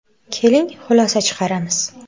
Keling, xulosa chiqaramiz.